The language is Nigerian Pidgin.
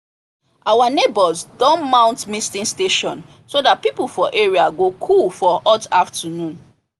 our neighbours don mount misting station so that people for area go cool for hot afternoon